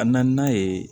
A na n'a ye